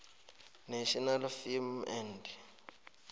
national film and